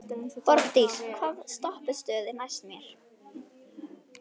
Borgdís, hvaða stoppistöð er næst mér?